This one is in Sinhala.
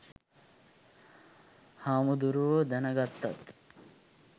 හාමුදුරුවො දැන ගත්තත්